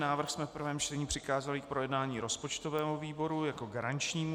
Návrh jsme v prvém čtení přikázali k projednání rozpočtovému výboru jako garančnímu.